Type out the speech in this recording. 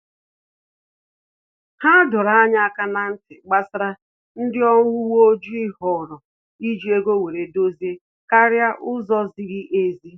Ha dọrọ anyị aka na-ntị gbasara ndị ọrụ uwe ojii họọrọ iji ego were edozi karịa ụzọ ziri ezi